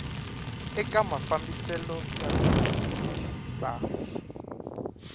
eka mafambiselo ya tihuvo ta